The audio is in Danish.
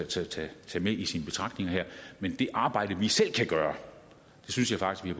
til at tage med i sine betragtninger men det arbejde vi selv kan gøre synes jeg faktisk